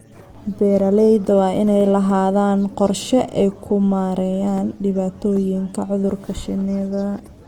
Beeralayda waa in ay lahaadaan qorshe ay ku maareeyaan dhibaatooyinka cudurka shinnida.